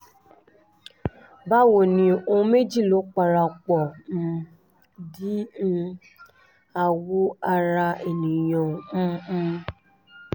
báwo ni o ohun méjì ló parapọ̀ um di um àwọ̀ ara ènìyàn um um